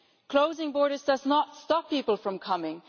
Closing borders does not stop people from coming